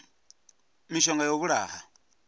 na mishonga ya u vhulaha